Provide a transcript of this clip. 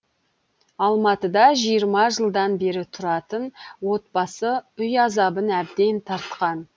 алматыда жиырма жылдан бері тұратын отбасы үй азабын әбден тартқан